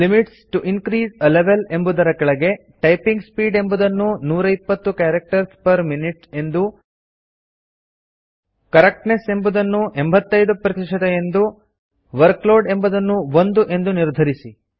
limits T O increase a level ಎಂಬುದರ ಕೆಳಗೆ typing speed ಎಂಬುದನ್ನು 120 ಕ್ಯಾರಕ್ಟರ್ಸ್ ಪೆರ್ ಮಿನ್ಯೂಟ್ ಎಂದು ಕರೆಕ್ಟ್ನೆಸ್ ಎಂಬುದನ್ನು 85 ಎಂದು ವರ್ಕ್ಲೋಡ್ ಎಂಬುದನ್ನು 1 ಎಂದು ನಿರ್ಧರಿಸಿ